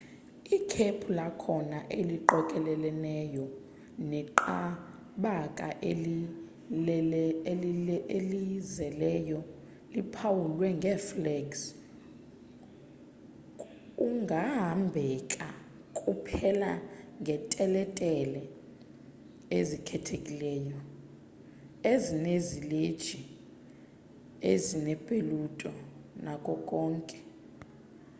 ikhephu lakhona eliqokeleleneyo neqabakaelizeleyo liphawulwe ngeflags kungahambeka kuphela ngeteletele ezikhethekileyo ezinezileji ezinepetula nako konke